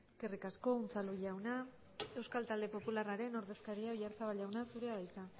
eskerrik asko unzalu jauna euskal talde popularraren ordezkaria oyarzabal jauna zurea da hitza